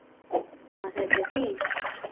Koma þau til þín?